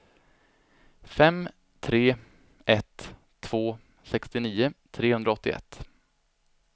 fem tre ett två sextionio trehundraåttioett